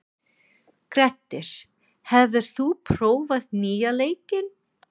Grettir, hefur þú prófað nýja leikinn?